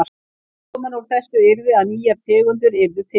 Útkoman úr þessu yrði að nýjar tegundir yrðu til.